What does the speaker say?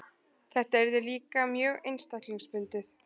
Þetta yrði líka mjög einstaklingsbundið.